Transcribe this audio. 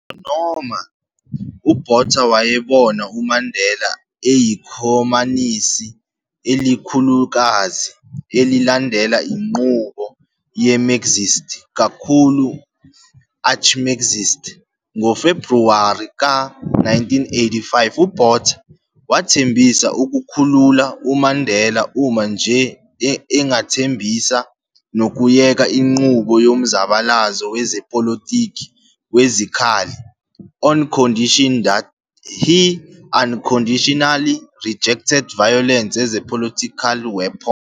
Ngisho noma uBotha wayebona uMandela eyikhomanisi elikhulukazi elilandela inqubo ye-Marxist kakhulu, "arch-Marxist", ngoFebruwari ka-1985, uBotha wathembisa ukukhulula uMandela uma nje engathembisa nokuyeka inqubo yomzabalazo wezepolitiki wezikhali, on condition that he "unconditionally rejected violence as a political weapon".